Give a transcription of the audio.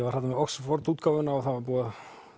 var þarna með Oxford útgáfuna og það var búið